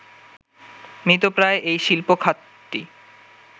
মৃতপ্রায় এই শিল্প খাতটি